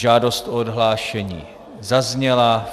Žádost o odhlášení zazněla.